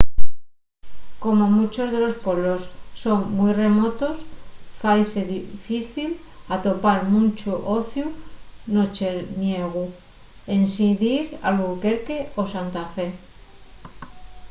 como munchos de los pueblos son mui remotos faise difícil atopar munchu ociu nocherniegu ensin dir a albuquerque o santa fe